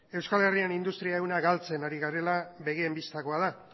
euskal herrian industri ehuna galtzen ari garela begien bistakoa da